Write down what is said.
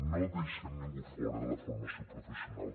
no deixem ningú fora de la formació professional